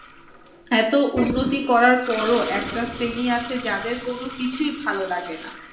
এত উন্নতি করার পরও একটা শ্রেণি আছে যাদের কোনো কিছুই ভাল লাগে না